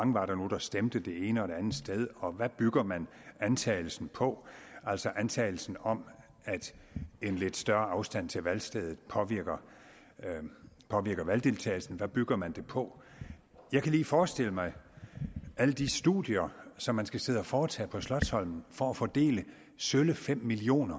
mange der stemte det ene og det andet sted og hvad bygger man antagelsen på altså antagelsen om at en lidt større afstand til valgstedet påvirker valgdeltagelsen hvad bygger man det på jeg kan lige forestille mig alle de studier som man skal sidde og foretage på slotsholmen for at fordele sølle fem million